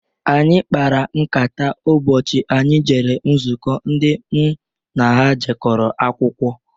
Anyị kpara nkata ụbọchị anyị jere nzuko ndị m na ha jekọrọ akwụkwọ.